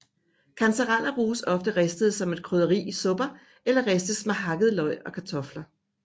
Kantareller bruges ofte ristede som et krydderi i supper eller ristes med hakkede løg og kartofler